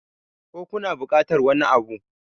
ko kuna bukatar wani Abu?